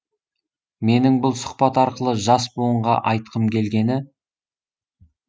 менің бұл сұхбат арқылы жас буынға айтқым келгені